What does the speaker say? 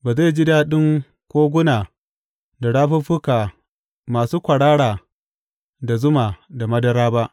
Ba zai ji daɗin koguna da rafuffuka masu kwarara da zuma da madara ba.